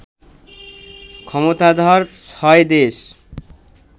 ক্ষমতাধর ছয় দেশ